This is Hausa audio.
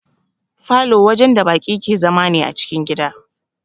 Falow wajen da baki ke zama ne a cikin gida